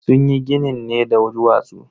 Sunyi ginin ne da duwatsu.